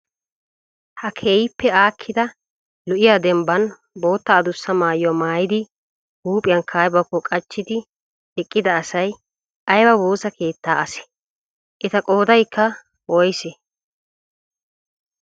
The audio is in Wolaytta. Ha keehippe aakkida lo'iyaa dembban bootta addussa maayuwaa maayidi huuphiyankka aybakko qachchidi eqqida asay ayba woosa keettaa asee? Eta qoodaykka woysee?